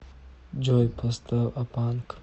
джой поставь э панк